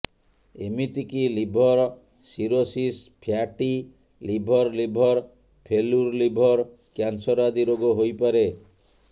ଏମିତିକି liver cirrhosis fatty liver liver failure liver cancer ଆଦି ରୋଗ ହୋଇପାରେ